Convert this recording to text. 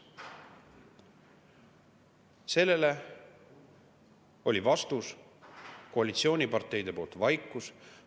Sellele oli vastus koalitsiooniparteide poolt vaikus.